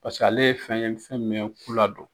Paseke ale ye fɛn ye fɛn min bɛ ku ladon.